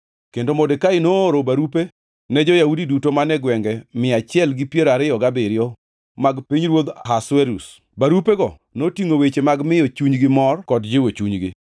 Kendo Modekai nooro barupe ne jo-Yahudi duto man e gwenge mia achiel gi piero ariyo gabiriyo mag pinyruodh Ahasuerus, barupego notingʼo weche mag miyo chunygi mor kod jiwo chunygi,